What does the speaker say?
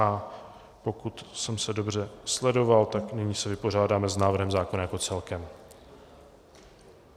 A pokud jsem se dobře sledoval, tak nyní se vypořádáme s návrhem zákona jako celkem.